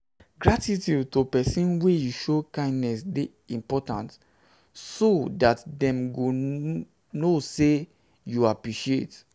gratitude to persin wey show you kindness de important so that dem go know say you appreciate